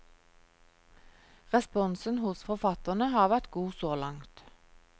Responsen hos forfatterne har vært god så langt.